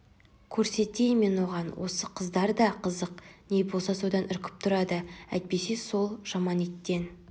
көрсетейін мен оған осы қыздар да қызық не болса содан үркіп тұрады әйтпесе сол жаман иттен